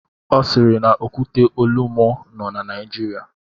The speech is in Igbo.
Ọ siiri na Okwute Olumo nọ na Naijiria.